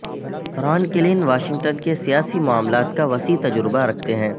ران Klain Washington کے سیاسی معاملات کا وسیع تجربہ رکھتے ہیں